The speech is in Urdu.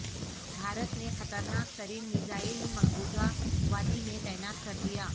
بھارت نے خطرناک ترین میزائل مقبوضہ وادی میں تعینات کردیا